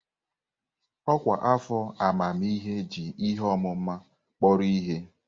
Ọkwa afọ amamihe ji ihe ọmụma kpọrọ ihe.